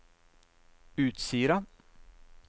Utsira